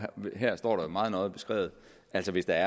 her står det meget nøje beskrevet at hvis der